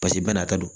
Pasike bana ka don